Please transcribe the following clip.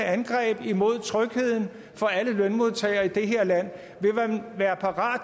angreb mod trygheden for alle lønmodtagere i det her land vil man være parat